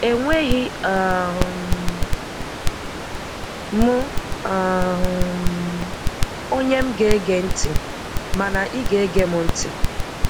Enweghị um m um onye m ga-ege ntị, mana ị ga-ege m ntị.